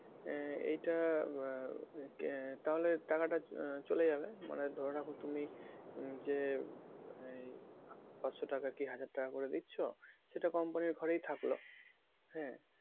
আহ এইটা আহ তাহলে টাকা টা আহ চলে যাবে মানে ধরে রাখো তুমি যে এই পাঁচশো টাকা কি হাজার টাকা করে দিচ্ছো সেটা company র ঘরেই থাকলো হ্যাঁ?